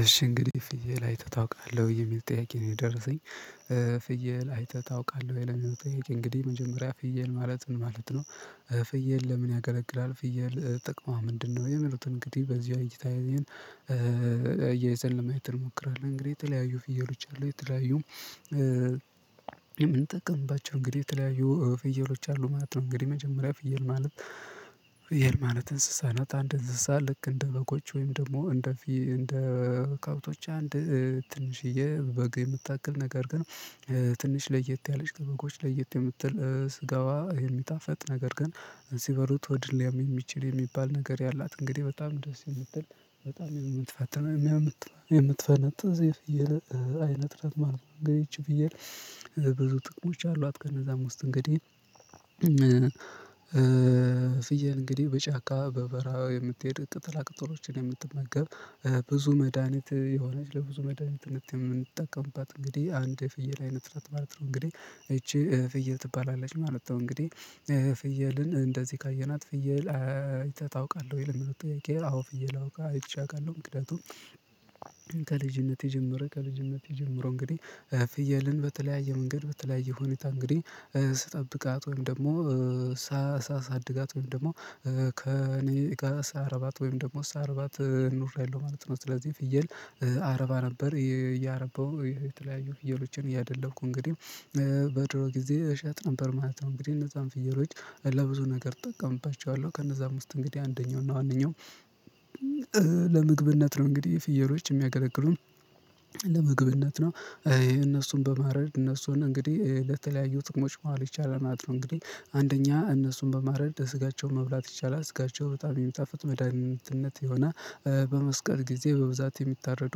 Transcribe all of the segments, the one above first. እሺ እንግዲህ ፍየል አይተህ ታውቃለህ ወይ? የሚል ጥያቄ ነው የደረሰኝ። ፍየል አይተህ ታውቃለህ ለሚው ጥያቄ? እንግዲህ መጀመሪያ ፍየል ማለት ምን ማለት ነው? ፍየል ለምን ያገለግላል ፍየል ጥቅሟ ምንድነው? የሚሉትን እንግዲህ በዚህ እይታ አያይዘን ለማየት እንሞክራለን። እንግዲህ የተለያዩ ፍየሎች አሉ። የተለያዩ የምንጠቀምባቸው እንግዲህ የተለያዩ ፍየሎች አሉ ማለት ነው። እንግዲህ መጀመሪያ ፍየል ማለት። ፍየል ማለት እንስሳ ናት። አንድ እንስሳ ልክ እንደ በጎች ወይም ደግሞ እንደ እንደ ከብቶች አንድ ትንሽዬ በግ የምታክል ነገር ግን። ትንሽ ለየት ያለች ከበጎች ለየት የምትል ስጋዋ የሚጣፍጥ ነገር ግን ሲበሉት ሆድን ሊያም የሚችል የሚባል ነገር ያላት እንግዲህ በጣም ደስ የምትል በጣም የምትፈጥን አናም የምትፈነጥዝ የፍየል አይነጥ ናት ማለት ነው። እንግዲህ ይቺ ፍየል ብዙ ጥቅሞች አሏት። ከነዛም ውስጥ እንግዲህ። ፍየል እንግዲህ በጫካ በበረሀ የምትሄድ ቅጠላ ቅጠሎችን የምትመገብ ብዙ መድሃኒት የሆነች ለብዙ መድሃኒትነት የምንጠቀምባት አንግዲህ አንድ የፍየል አይነት ናት ማለት ነው። እንግዲህ እቺ ፍየል ትባላለች ማለት ነው። እንግዲህ ፍየልን እንደዚህ ካየናት ፍየል አይተህ ታውቃለህ ወይ? ለሚለው ጥያቄ አዎ ፍየል አውቃ አይቼ አውቃለሁ። ምክንያቱም ከልጅነቴ ጀምሮ ከልጅነቴ ጀምሮ። እንግዲህ ፍየልን በተለያየ መንገድ በተለያየ ሁኔታ። እንግዲህ ስጠብቃት ወይም ደግሞ ሳድጋት ወይም ደግሞ ከእኔ ጋር ሳረባት ወይም ደግሞ ሳረባት ኖርያለሁ ማለት ነው። ስለዚህ ፍየል አረባ ነበር እያረበው የተለያዩ ፍየሎችን እያደለብኩ እንግዲህ በድሮ ጊዜ እሸጥ ነበር ማለት ነው። እንግዲህ እነዛን ፍየሎች ለብዙ ነገር እጠቀምባቸዋለሁ። ከእነዛም ውስጥ እንግዲህ አንደኛው እና ዋነኛው ለምግብነት ነው። እንግዲህ ፍየሎች የሚያገለግሉን ለምግብነት ነው። እነሱን በማረድ እነሱን እንግዲህ ለተለያዩ ትቅሞች ማዋል ይቻላል ማለት ነው። እንግዲህ አንደኛ እነሱን በማረድ ስጋቸውን መብላት ይቻላል ስጋቸው በጣም የሚጣፍጥ መድሃኒትነት የሆነ በመስቀል ጊዜ በብዛት የሚታረዱ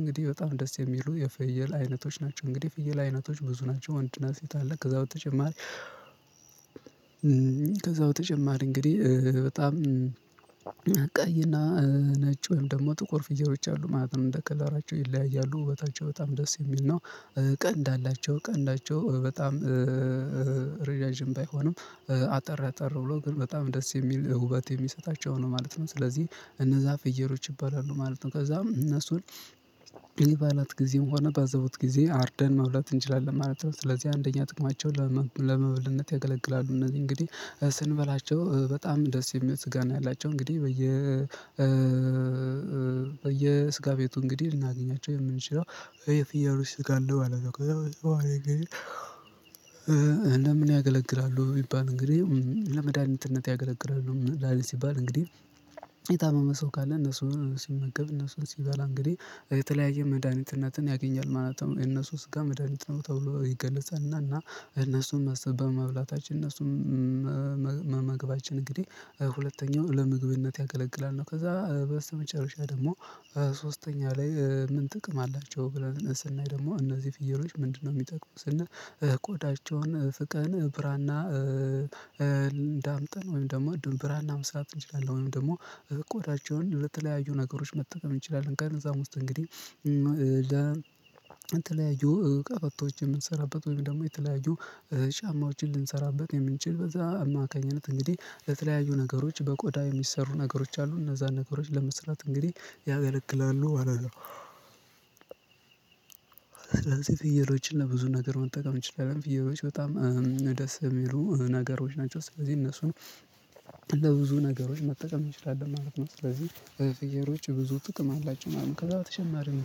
እንግዲህ በጣም ደስ የሚሉ የፍየል አይነቶች ናቸው። እንግዲህ ፍየል አይነቶች ብዙ ናቸው። ወንድ እና ሴት አለ ከዛ በተጨማሪ ከዛ በተጨማሪ እንግዲህ በጣም ቀይና ነጭ ወይም ደግሞ ጥቁር ፍየሎች አሉ ማለት ነው እንደ ከለራቸው ይለያያሉ ውበታቸው በጣም ደስ የሚል ነው። ቀንድ አላቸው ቀንዳቸው በጣም ረጃጅም ባይሆንም አጠር አጠር ብሎ ግን በጣም ደስ የሚል ውበት የሚሰጣቸው ነው ማለት ነው። ስለዚህ እነዛ ፍየሎች ይባላሉ ማለት ነው። ከዛም እነሱን የበዓላት ጊዜም ሆነ በአዘቦት ጊዜ አርደን መብላት እንችላለን ማለት ነው። ስለዚህ አንደኛ ጥቅማቸው ለመብልነት ያገለግላሉ እነዚህ እንግዲህ ስንበላቸው በጣም ደስ የሚል ስጋ ነው። ያላቸው እንግዲህ በየ የስጋ ቤቱ እንግዲህ ልናገኛቸው የምንችለው የፍያሎች ስጋ አለው ማለት ነው። ከዛ በተጨማሪ እንግዲህ ለምን ያገለግላሉ? ቢባል እንግዲህ ለመድኃኒትነት ያገለግላሉ መድሃኒት ሲባል እንግዲህ የታመመ ሰው ካለ እነሱን ሲመገብ እነሱን ሲባል እንግዲህ የተለያየ መድሃኒትነትን ያገኛል ማለት ነው። የነእርሱ ስጋ መድሃኒት ነው ተብሎ ይገለጻል። እና እና እነሱን መሰብ በመብላታችን እነሱን መመገባችን እንግዲህ ሁለተኛው ለምግብነት ያገለግላል ነው። ከዛ በስተመጨረሻ ደግሞ ሶስተኛ ላይ ምን ጥቅም አላቸው ብለን ስናይ ደግሞ እነዚህ ፍየሎች ምንድነው የሚጠቅሙት? ስንል ቆዳቸውን ፍቀን ብራና ዳምጠን ወይም ደግሞ እንዲሁም ብራና መስራት እንችላለን። ወይም ደግሞ ቆዳቸውን ለተለያዩ ነገሮች መጠቀም እንችላለን። ከነዛም ውስጥ እንግዲህ ለተለያዩ ቀበቶች የምንሰራበት ወይም ደግሞ የተለያዩ ጫማዎችን ልንሰራበት የምንችል በዛ አማካኝነት እንግዲህ ለተለያዩ ነገሮች በቆዳ የሚሰሩ ነገሮች አሉ እነዛን ነገሮች ለመስራት እንግዲህ ያገለግላሉ ማለት ነው። ስለዚህ ፍየሎችን ለብዙ ነገር መጠቀም እንችላለን። ፍየሎች በጣም ደስ የሚሉ ነገሮች ናቸው። ስለዚህ እነሱን በብዙ ነገሮች መጠቀም እንችላለን ማለት ነው። ስለዚህ በፍየሎች ብዙ ጥቅም አላቸው ማለት ነው። ከዛ በተጨማሪም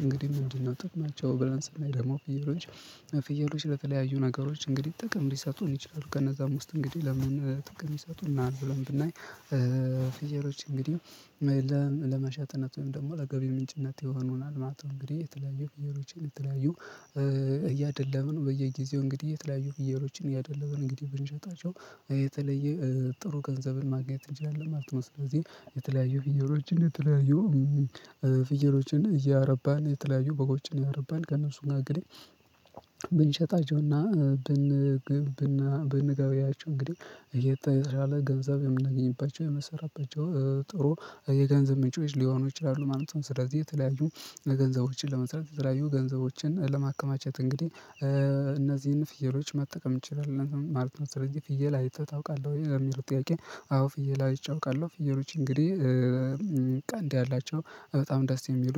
እንግዲህ ምንድነው? ጥቅማቸው ብለን ስናይ ደግሞ ፍየሎች ፍየሎች ለተለያዩ ነገሮች እንግዲህ ጥቅም ሊሰጡን ይችላሉ። ከነዛ ውስጥ እንግዲህ ለምን ጥቅም ሊሰጡናል ብለን ብናይ ፍየሎች እንግዲህ ለመሸጥነት ወይም ደግሞ ለገቢ ምንጭነት ይሆኑናል ማለት ነው። እንግዲህ የተለያዩ ፍየሎችን የተለያዩ እያደለብን በየጊዜው እንግዲህ የተለያዩ ፍየሎችን እያደለብን እንግዲህ ብንሸጣቸው የተለየ ጥሩ ገንዘብን ማግኘት እንችላለን ማለት ነው። ስለዚህ የተለያዩ ፍየሎችን የተለያዩ ፍየሎችን እያረባን የተለያዩ በጎችን አያረባን ከእነሱ ጋር እንግዲህ ብንሸጣቸውና ብንግብ ብንገቢያቸው እንግዲህ እየተሻለ ገብዛብ የምናገኝባቸው የምንሰራባቸው ጥሩ የገንዘብ ምንጮች ሊሆኑ ይችላሉ ማለት ነው። ስለዚህ የተለያዩ ገንዘቦችን ለመስራት የተለያዩ ገንዘቦችን ለማከማቸት እንግዲህ እነዚህን ፍየሎች መጠቀም እንችላለን ማለት ነው። ስለዚህ ፍየል አይተህ ታውቃለህ ወይ? ለሚለው ጥያቄ አዎ ፍየል አይቼ አወቃለሁ ፍየሎች እንግዲህ ቀንድ ያላቸው በጣም ደስ የሚሉ